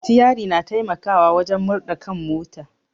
Sitiari na taimakawa wajen murɗa kan mota